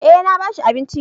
Eh na ba shi abinci